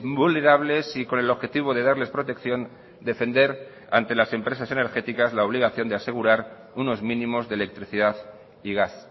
vulnerables y con el objetivo de darles protección defender ante las empresas energéticas la obligación de asegurar unos mínimos de electricidad y gas